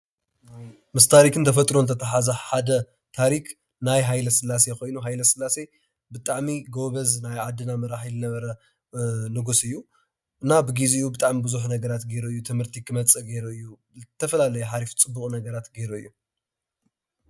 ምስ ታሪክን ተፈጥሮን ዘተሓሓዘ ሓደ ታሪክ ናይ ሃይለስላሴ ኮይኑ ሃይለስላሴ ብጣዕሚ ጎበዝ ናይ ዓድና መራሒ ዝነበረ ንጉስ እዩ እና ብግዚኡ ብጣዕሚ ቡዝሕ ነገራት ገይሩ እዩ፡፡ ትምህርቲ ክመፅእ ገይሩ እዩ ዝተፈላለዩ ሃሪፍ ፅቡቅ ነገራት ገይሩ እዩ፡፡